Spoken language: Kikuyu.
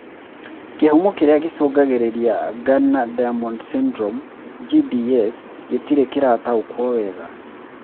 Kĩhumo kĩrĩa gĩcũngagĩrĩria Gardner Diamond syndrome (GDS) gĩtirĩ kĩrataũkwo wega